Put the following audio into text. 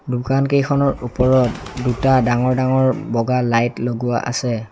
দোকানকেইখনৰ ওপৰত দুটা ডাঙৰ ডাঙৰ বগা লাইট লগোৱা আছে।